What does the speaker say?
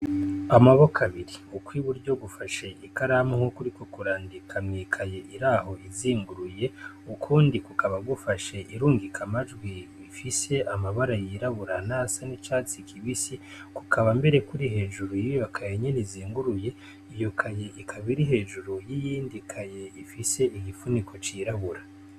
Amaboko abiri ukw'iburyo gufashe ikaramu naho kuri ko kurandika mwikaye iraho izinguruye ukundi kukaba gufashe irungika amajwi bifise amabara yirabura na sa n'icatsi kibisi kukaba mbere kuri hejuru yibibakaye nyene izenguruye iyukaye ikabairi hejuru yiyindikaye ifise igipfuniko cirabura.